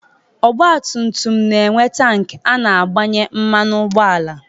Ọgba tum tum na-enwe tank a na-agbanye mmanụ ụgbọala.